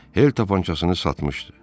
Hel tapançasını satmışdı.